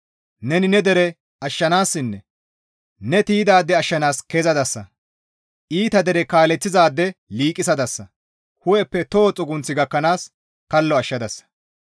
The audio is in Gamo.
Neni ne dere ashshanaasinne ne tiydaade ashshanaas kezadasa, iita dere kaaleththizaade liiqisadasa, hu7eppe toho xugunth gakkanaas kallo ashshadasa.